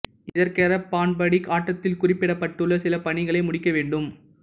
இதற்கென பார்ண் படி ஆட்டத்தில் குறிப்பிடப்பட்டுள்ள சில பணிகளை முடிக்க வேண்டும்